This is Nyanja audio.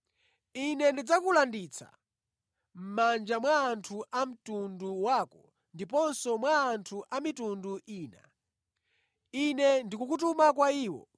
Ine ndidzakulanditsa mʼmanja mwa anthu a mtundu wako ndiponso mwa anthu a mitundu ina. Ine ndikukutuma kwa iwo,